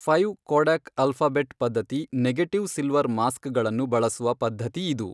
Five Kodak alphabet ಪದ್ಧತಿ negative silver mask ಗಳನ್ನು ಬಳಸುವ ಪದ್ಧತಿ ಇದು.